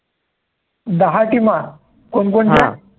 दहा teams कोण कोणत्या हा